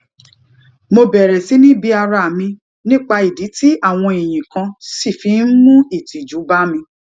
mo bèrè sí ni bi ara mi nípa ìdí tí àwọn ìyìn kan ṣì fi ń mu ìtìjú bá mi